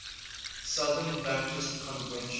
southern baptist convention